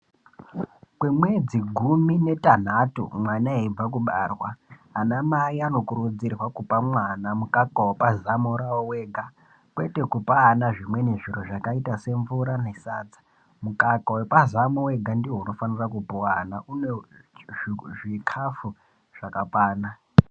Kwemwedzi gumi netanhatu ana eibva kubarwa , anamai anokurudzirwa kupa mwana mukaka wepazamo rawo wega kwete kupaa wana zvimweni zviro zvakaita semvura nesadza , mukaka wepazamo wega ndiwo unofanire kupuwa vana une zvikafu zvakakwana.